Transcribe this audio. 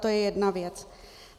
To je jedna věc.